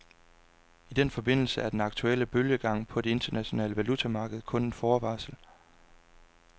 I den forbindelse er den aktuelle bølgegang på det internationale valutamarked kun en forvarsel.